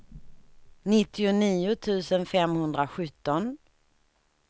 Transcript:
nittionio tusen femhundrasjutton